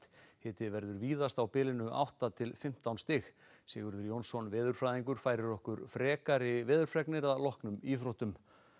hiti verður víðast á bilinu átta til fimmtán stig Sigurður Jónsson veðurfræðingur færir okkur frekari veðurfregnir að loknum íþróttum